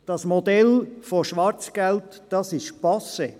Das Modell «Schwarzgeld» ist passé.